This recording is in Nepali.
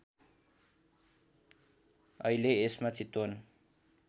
अहिले यसमा चितवन